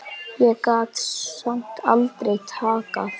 Ég gat samt aldrei þakkað